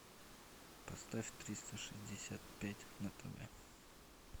поставь триста шестьдесят пять на тв